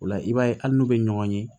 O la i b'a ye hali n'u bɛ ɲɔgɔn ye